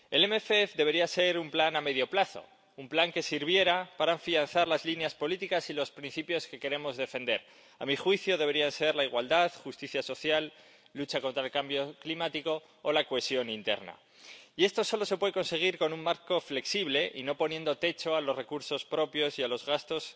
El MFP debería ser un plan a medio plazo, un plan que sirviera para afianzar las líneas políticas y los principios que queremos defender —que a mi juicio deberían ser la igualdad, la justicia social, la lucha contra el cambio climático o la cohesión interna— y esto solo se puede conseguir con un marco flexible y no poniendo techo a los recursos propios y a los gastos,